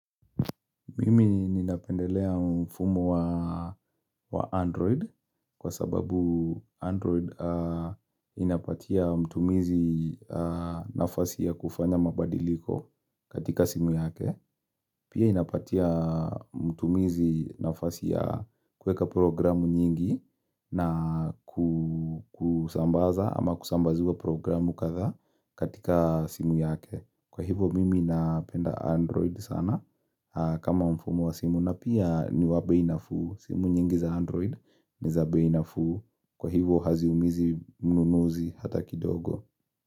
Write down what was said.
Mimi ninapendelea mfumo wa Android kwa sababu Android inapatia mtumizi nafasi ya kufanya mabadiliko katika simu yake. Pia inapatia mtumizi nafasi ya kueka programu nyingi na kusambaza ama kusambazua programu katha katika simu yake. Kwa hivo mimi napenda android sana kama mfumo wa simu na pia ni wa beinafu simu nyingi za android ni zaabeinafu Kwa hivo hazi umizi mnunuzi hata kidogo.